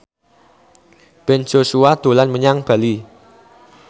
Ben Joshua dolan menyang Bali